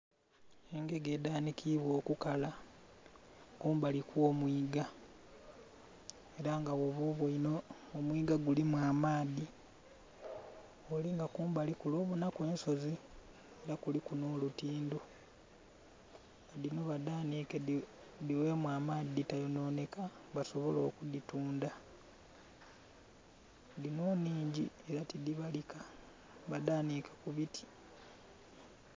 Engege edhanhikibwa okukala kumbali kwo mwiga era nga bwoba obweinhe omwiga gulimu amaadhi, gholinga kumbali kule obonhaku ensozi era kuliku nho lutindho dhino badhanike dhi ghemu amaadhi dhitononheka basobole oku dhitundha dhino nnhingi tidhibalika badhanike ku biti.